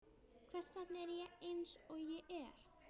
Hvers vegna er ég eins og ég er?